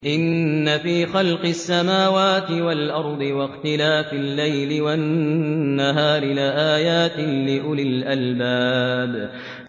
إِنَّ فِي خَلْقِ السَّمَاوَاتِ وَالْأَرْضِ وَاخْتِلَافِ اللَّيْلِ وَالنَّهَارِ لَآيَاتٍ لِّأُولِي الْأَلْبَابِ